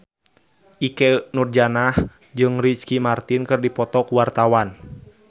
Ikke Nurjanah jeung Ricky Martin keur dipoto ku wartawan